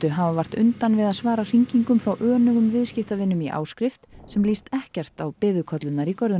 hafa vart undan við að svara hringingum frá viðskiptavinum í áskrift sem líst ekkert á biðukollurnar í görðum